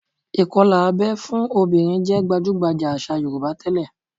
Ìkọlà abẹ́ fún obìnrin jẹ́ gbajúgbajà àṣà Yorùbá tẹ́lẹ̀